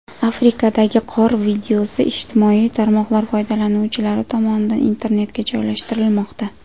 Afrikadagi qor videosi ijtimoiy tarmoqlar foydalanuvchilari tomonidan internetga joylashtirilmoqda.